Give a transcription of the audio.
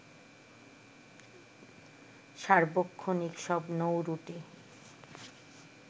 সার্বক্ষণিক সব নৌরুটে